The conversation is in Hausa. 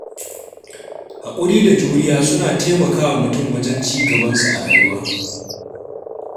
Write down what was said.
Haƙuri da juriya suna taimakawa mutum wajen ci gabansa a rayuwa.